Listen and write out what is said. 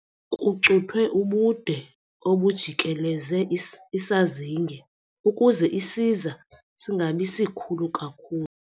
Kucuthwe ubude obujikeleze isazinge ukuze isiza singabi sikhulu kakhulu.